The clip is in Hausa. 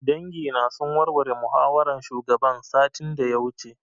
Dangi na sun warware muhawaran shugaban satin da ya wuce